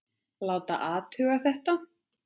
Láta athuga þetta.